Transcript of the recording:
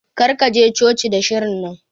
Kar ka je coci da shirin nan.